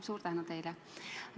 Suur tänu teile!